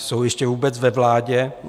Jsou ještě vůbec ve vládě?